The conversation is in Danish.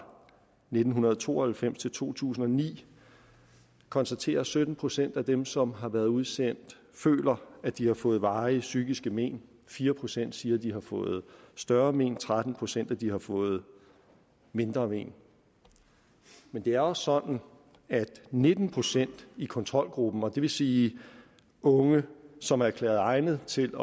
nitten to og halvfems til to tusind og ni konstaterer at sytten procent af dem som har været udsendt føler at de har fået varige psykiske men fire procent siger at de har fået større men tretten procent siger at de har fået mindre men men det er også sådan at nitten procent i kontrolgruppen og det vil sige unge som er erklæret egnet til